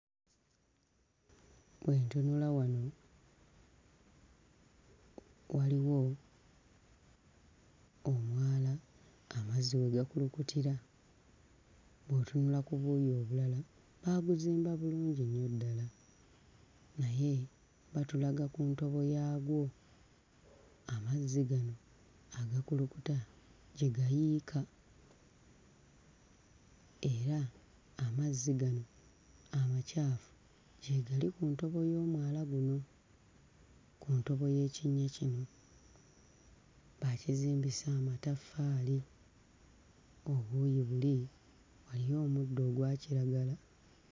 Bwe ntunula wano, waliwo omwala amazzi we gakulukutira. Bw'otunula ku buuyi obulala baabuzimba bulungi nnyo ddala naye batulaga ku ntobo yaagwo amazzi gano agakulukuta gye gayiika era amazzi gano amacaafu gyegali ku ntobo y'omwala guno ku ntobo y'ekinnya kino, baakizimbisa amataffaali. Obuuyi buli waliyo omuddo ogwa kiragala.